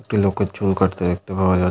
একটি লোকের চুল কাটতে দেখতে পাওয়া যা--